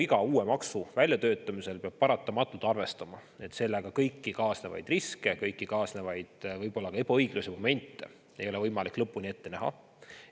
Iga uue maksu väljatöötamisel peab paratamatult arvestama, et kõiki sellega kaasnevaid riske ja kõiki kaasnevaid võib-olla ka ebaõigluse momente ei ole võimalik lõpuni ette näha.